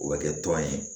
O bɛ kɛ tɔn ye